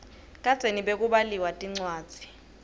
kadzeni bekubaliwa tincwadzi